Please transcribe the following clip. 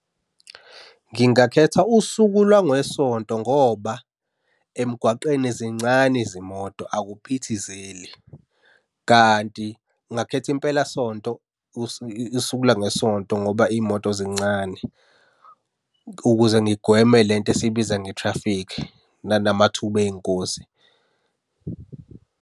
Ngingakhetha usuku lwangeSonto ngoba emgwaqeni zincane izimoto akuphithizeli, kanti ngingakhethaimpelasonto usuku lwangeSonto ngoba iy'moto zincane, ukuze ngigweme le nto esiyibiza nge-traffic nanamathuba ey'ngozi.